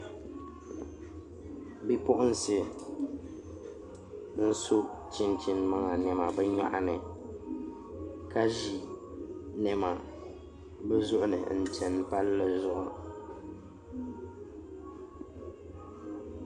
Bipuɣunsi n so chinchin maŋa niɛma bi nyoɣani ka ʒi niɛma bi zuɣu ni n chɛni palli zuɣu